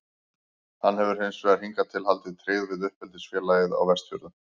Hann hefur hins vegar hingað til haldið tryggð við uppeldisfélagið á Vestfjörðum.